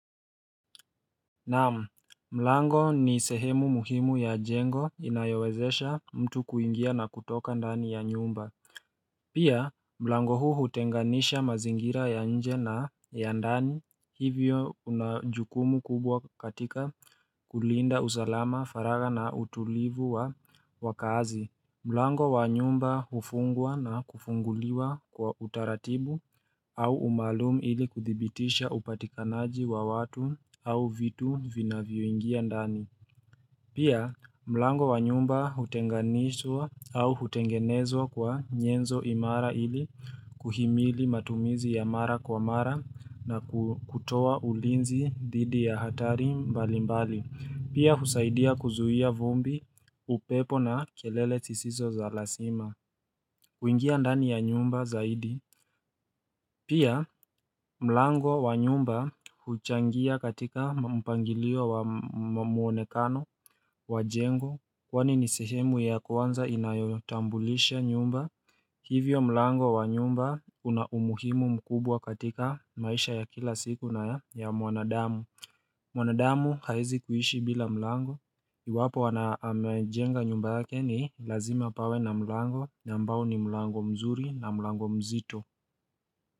Na'am, mlango ni sehemu muhimu ya jengo inayowezesha mtu kuingia na kutoka ndani ya nyumba Pia mlango huu hutenganisha mazingira ya nje na ya ndani hivyo una jukumu kubwa katika kulinda usalama, faragha na utulivu wa kazi. Mlango wa nyumba hufungwa na kufunguliwa kwa utaratibu au umaalum ili kuthibitisha upatikanaji wa watu au vitu vinavyoingia ndani. Pia, mlango wa nyumba hutenganishwa au hutengenezwa kwa nyenzo imara ili kuhimili matumizi ya mara kwa mara na kutowa ulinzi dhidi ya hatari mbali mbali. Pia husaidia kuzuia vumbi upepo na kelele zisizo za lazima. Kuingia ndani ya nyumba zaidi. Pia mlango wa nyumba huchangia katika mpangilio wa muonekano wa jengo kwani ni sehemu ya kwanza inayotambulisha nyumba Hivyo mlango wa nyumba una umuhimu mkubwa katika maisha ya kila siku na ya mwanadamu. Mwanadamu hawezi kuhishi bila mlango Iwapo amejenga nyumba yake ni lazima pawe na mlango ambao ni mlango mzuri na mlango mzito.